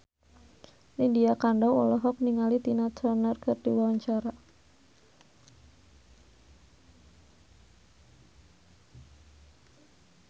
Lydia Kandou olohok ningali Tina Turner keur diwawancara